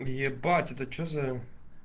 ебать это что за